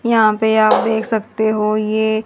यहां पे आप देख सकते हो ये--